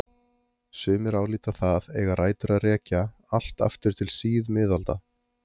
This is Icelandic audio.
Sumir álíta það eiga rætur að rekja allt aftur til síðmiðalda.